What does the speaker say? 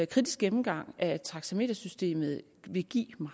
kritisk gennemgang af taxametersystemet vil give